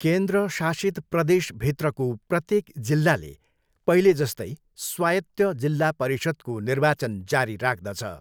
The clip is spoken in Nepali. केन्द्र शासित प्रदेशभित्रको प्रत्येक जिल्लाले पहिले जस्तै स्वायत्त जिल्ला परिषद्को निर्वाचन जारी राख्दछ।